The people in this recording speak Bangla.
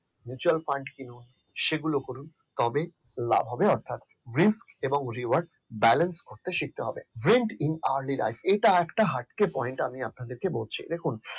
mutual fund করুন সেগুলো কিনুন তবে লাভ হবে অর্থাৎ risk এবং rework balance করতে শিখতে হবে এটা একটা হার্টকে point আমি আপনাদেরকে বলছি দেখুন